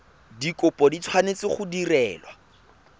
dikopo di tshwanetse go direlwa